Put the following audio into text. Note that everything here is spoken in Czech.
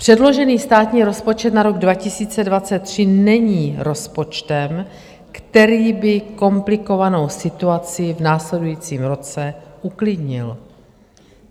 Předložený státní rozpočet na rok 2023 není rozpočtem, který by komplikovanou situaci v následujícím roce uklidnil.